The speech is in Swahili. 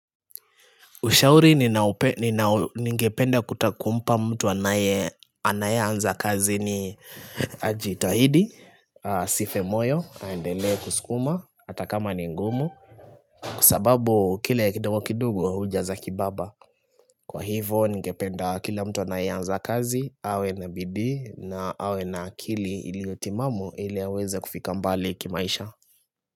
Ushauri ningependa kutakumpa mtu anaye anza kazi ni ajitahidi, asife moyo, andelee kusukuma, hatakama ni ngumu. Kwa sababu kile kidogo kidogo hujaza kibaba. Kwa hivo nigependa kila mtu anaye anza kazi, awe na bidhi na awe n akili ili yotimamu ili aweze kufika mbali kimaisha.